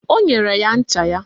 O nyere ya ncha ya